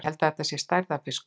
Ég held þetta sé stærðarfiskur!